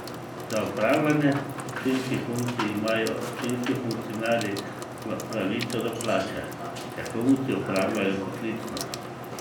Za opravljanje občinskih funkcij imajo občinski funkcionarji pravico do plače, če funkcijo opravljajo poklicno.